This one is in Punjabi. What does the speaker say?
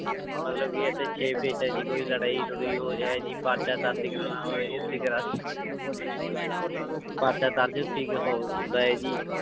ਮਤਲਬ ਕਿ ਇੱਥੇ ਹੈ ਜੀ ਕੋਈ ਲੜਾਈ ਲੜੂਈ ਹੋ ਜਾਏ ਜੀ ਪਰਚਾ ਦਰਜ਼ ਕਰਵਾਉਣਾ ਹੋਵੇ ਜੀ ਅਸੀਂ ਕਰਾ ਪਰਚਾ ਦਰਜ਼ ਹੁੰਦਾ ਹੈ ਜੀ